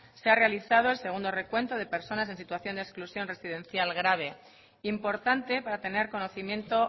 se ha realizado el segundo recuento de personas en situación de exclusión residencial grave importante para tener conocimiento